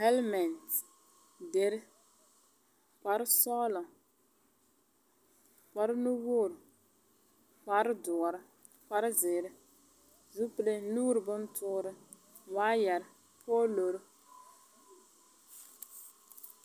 Hɛlmɛnt, deri , kparesɔɔlɔ, kparenuwoori, kaperedoɔr, kparezeere, zupile nuuri bontoore waayɛr poolor.